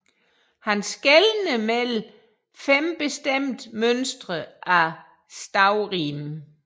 Han skelnede mellem fem bestemte mønstre af stavrim